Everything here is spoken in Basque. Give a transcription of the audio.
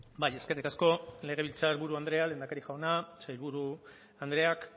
bai eskerrik asko legebiltzar buru andrea lehendakari jauna sailburu andreak